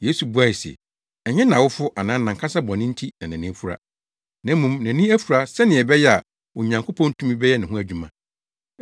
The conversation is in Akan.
Yesu buae se, “Ɛnyɛ nʼawofo anaa nʼankasa bɔne nti na nʼani afura. Na mmom nʼani afura sɛnea ɛbɛyɛ a Onyankopɔn tumi bɛyɛ ne ho adwuma.